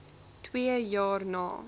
twee jaar na